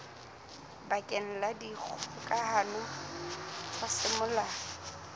bakeng la dikgokahano tsa semolao